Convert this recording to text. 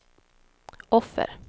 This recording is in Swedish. offer